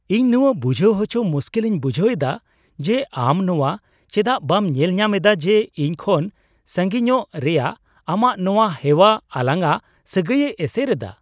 ᱤᱧ ᱱᱚᱣᱟ ᱵᱩᱡᱷᱟᱹᱣ ᱟᱪᱚ ᱢᱩᱥᱠᱤᱞ ᱤᱧ ᱵᱩᱡᱷᱟᱹᱣ ᱮᱫᱟ ᱡᱮ ᱟᱢ ᱱᱚᱣᱟ ᱪᱮᱫᱟᱜ ᱵᱟᱢ ᱧᱮᱞ ᱧᱟᱢ ᱮᱫᱟ ᱡᱮ ᱤᱧ ᱠᱷᱚᱱ ᱥᱟᱜᱤᱧᱚᱜ ᱨᱮᱭᱟᱜ ᱟᱢᱟᱜ ᱱᱚᱣᱟ ᱦᱮᱣᱟ ᱟᱞᱟᱝᱼᱟᱜ ᱥᱟᱹᱜᱟᱹᱭᱮ ᱮᱥᱮᱨ ᱮᱫᱟ ᱾